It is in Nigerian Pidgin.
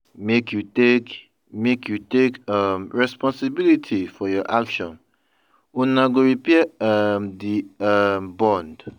Make you take Make you take um responsibility for your actions, una go repair um di um bond.